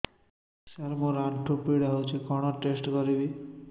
ସାର ମୋର ଆଣ୍ଠୁ ପୀଡା ହଉଚି କଣ ଟେଷ୍ଟ କରିବି